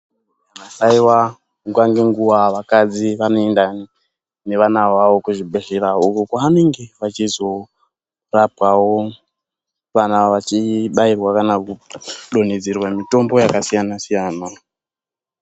Haiwa nguva nenguwa vakadzi vanoenda nevana vavo kuzvibhedhlera uko kwavanenge vachizorapwawo kana kudonhedzerwa mitombo yakasiyana-siyana.